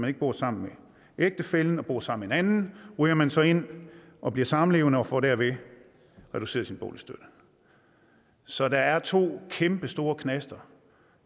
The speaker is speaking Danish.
ikke bor sammen med ægtefællen men bor sammen med en anden ryger man så ind og bliver samlevende og får derved reduceret sin boligstøtte så der er to kæmpestore knaster